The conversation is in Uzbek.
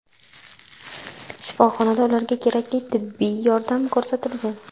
Shifoxonada ularga kerakli tibbiy yordam ko‘rsatilgan.